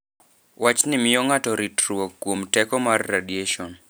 Wachni miyo ng'ato ritruok kuom teko mar radiation.